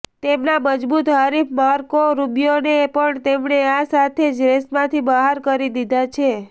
તેમના મજબૂત હરીફ માર્કો રુબિયોને પણ તેમણે આ સાથે જ રેસમાંથી બહાર કરી દીધા છે